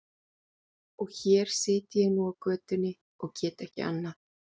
Og hér sit ég nú í götunni og get ekki annað.